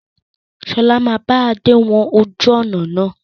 Sọlá máa bá Adé wọn ojú ọnà náà.